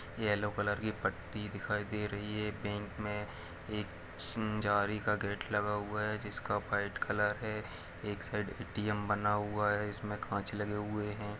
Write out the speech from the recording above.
Yellow colour की पट्टी दिखाई दे रही है बैंक में एक जाली का गेट लगा हुआ हैजिसका व्हाइट कलर है एक साइड ए_टी_एम बना हुआ है जिसमें कांच लगे हुए है।